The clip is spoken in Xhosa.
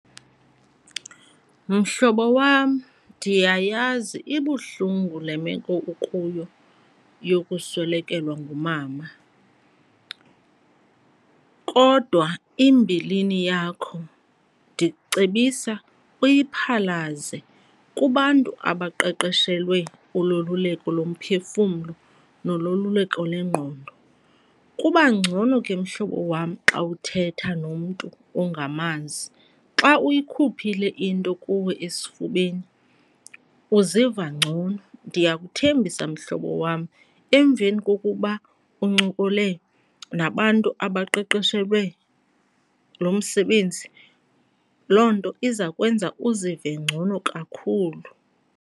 Mhlobo wam, ndiyayazi ibuhlungu le meko ukuyo yokuswelekelwa ngumama kodwa imbilini yakho ndikucebisa uyaphalaze kubantu abaqeqeshelwe uloluleko lomphefumlo nololuleko lwengqondo. Kuba ngcono ke mhlobo wam xa uthetha nomntu ongamazi, xa uyikhuphile into kuwe esifubeni uziva ngcono. Ndiyakuthembisa mhlobo wam emveni kokuba uncokole nabantu abaqeqeshelwe lo msebenzi, loo nto iza kwenza uzive ngcono kakhulu.